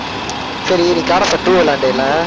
சரி நீ God of War two விளையான்டே இல்லை